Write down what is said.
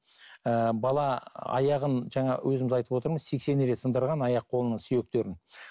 ыыы бала аяғын жаңа өзіңіз айтып отырмыз сексен рет сындырған аяқ қолының сүйектерін